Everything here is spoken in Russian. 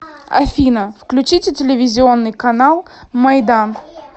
афина включите телевизионный канал майдан